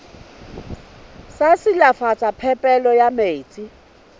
sa silafatsa phepelo ya metsi